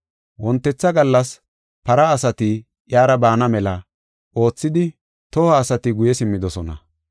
Wontetha gallas para asati iyara baana mela oothidi toho asati guye simmidosona.